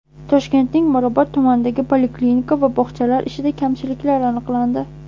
Toshkentning Mirobod tumanidagi poliklinika va bog‘chalar ishida kamchiliklar aniqlandi.